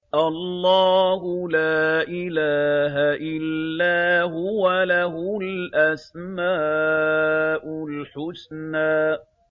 اللَّهُ لَا إِلَٰهَ إِلَّا هُوَ ۖ لَهُ الْأَسْمَاءُ الْحُسْنَىٰ